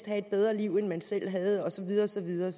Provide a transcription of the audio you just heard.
have et bedre liv end man selv havde og så videre og så videre